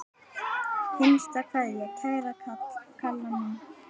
HINSTA KVEÐJA Kæra Kalla mín.